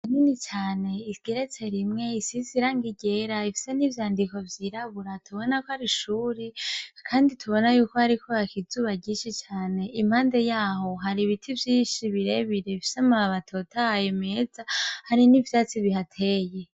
Nini cane isgeretse rimwe isi sirang igera ifisa n'ivyandiko vyiraburaatubona ko ari ishuri, kandi tubona yuko hariko hakizuba gishi cane impande yaho hari ibiti vyishi birebirefisamurabatotaye meza hari n'ivyatsi bihateye.